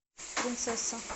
принцесса